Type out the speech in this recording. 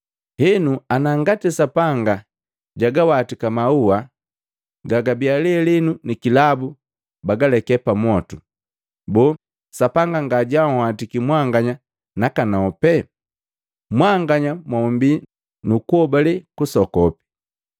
Henu ana Sapanga jagawatika maua libi lelenu ni kilabu bagaleke pamwotu, boo Sapanga ngajanhwatiki mwanganya nakanope? Mwanganya mombii nukuhobale kusokopi!